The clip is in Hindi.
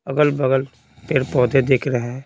अगल-बगल पेड़-पौधे देख रहे हैं।